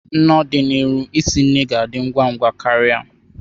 N'ọdịnihu, isi ga ndị ngwa ngwa ka ria.